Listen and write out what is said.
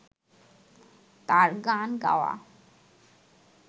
তাঁর গান গাওয়া